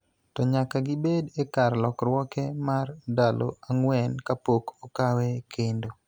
to nyaka gibed e kar lorruoke mar ndalo ang�wen kapok okawe kendo.